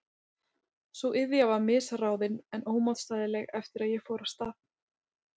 Sú iðja var misráðin en ómótstæðileg eftir að ég fór af stað.